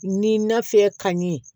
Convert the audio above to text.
Ni nafe ka ɲɛ